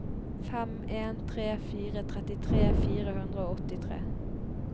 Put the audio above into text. fem en tre fire trettitre fire hundre og åttitre